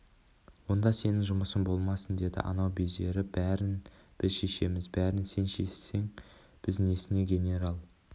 онда сенің жұмысың болмасын деді анау безеріп бәрін біз шешеміз бәрін сен шешсең біз несіне генерал